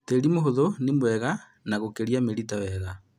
Tĩli mũhũthu nĩmwega na gũkũria mĩrita wega